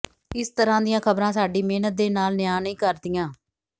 ਇਸ ਤਰ੍ਹਾਂ ਦੀਆਂ ਖਬਰਾਂ ਸਾਡੀ ਮਿਹਨਤ ਦੇ ਨਾਲ ਨਿਆ ਨਹੀਂ ਕਰਦੀਆਂ